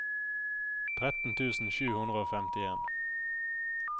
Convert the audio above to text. tretten tusen sju hundre og femtien